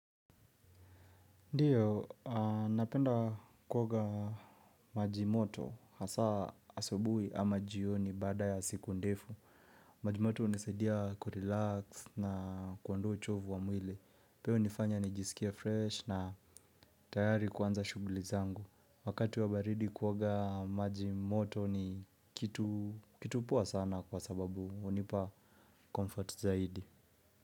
Ndio, napenda kuoga maji moto, hasa asubuhi ama jioni baada ya siku ndefu. Majimoto hunisadia kurelax na kuondoa uchovu wa mwili. Pia hunifanya nijisikie fresh na tayari kuanza shughuli zangu. Wakati wa baridi kuoga majimoto ni kitu poa sana kwa sababu hunipa comfort zaidi.